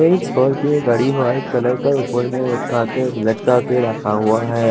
एक स्कॉर्पियो गाड़ी white colour का ऊपर में लटका के लटका के रखा हुआ है।